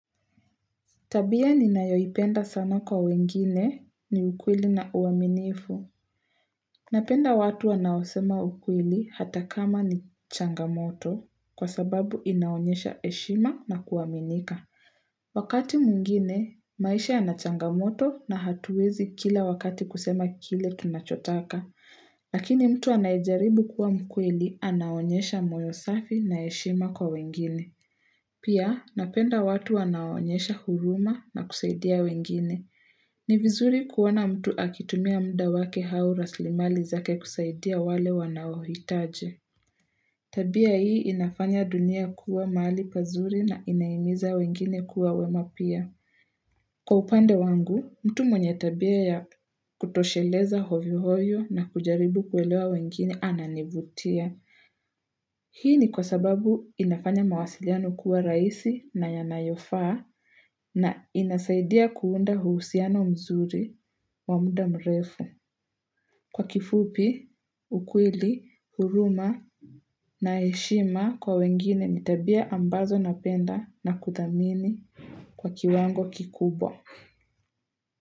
Tabia ni nayoipenda sana kwa wengine ni ukweli na uaminifu. Napenda watu wanaosema ukweli hata kama ni changamoto kwa sababu inaonyesha heshima na kuaminika. Wakati mungine, maisha anachangamoto na hatuwezi kila wakati kusema kile tunachotaka. Lakini mtu anayejaribu kuwa mkweli anaonyesha moyo safi na heshima kwa wengine. Pia, napenda watu wanaonyesha huruma na kusaidia wengine. Ni vizuri kuwana mtu akitumia muda wake haura raslimali zake kusaidia wale wanawitaje. Tabia hii inafanya dunia kuwa mali pazuri na inaimiza wengine kuwa wema pia. Kwa upande wangu, mtu mwenye tabia ya kutosheleza ovyo ovyo na kujaribu kuelewa wengine ananibutia. Hii ni kwa sababu inafanya mawasiliano kuwa raisi na yanayofaa na inasaidia kuunda huusiano mzuri wa muda mrefu. Kwa kifupi, ukweli, huruma na heshima kwa wengine ni tabia ambazo napenda na kuthamini kwa kiwango kikubwa.